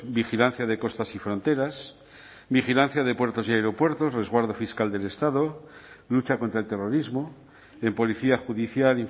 vigilancia de costas y fronteras vigilancia de puertos y aeropuertos resguardo fiscal del estado lucha contra el terrorismo en policía judicial